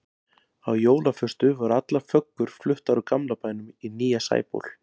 Á jólaföstu voru allar föggur fluttar úr gamla bænum í nýja Sæból.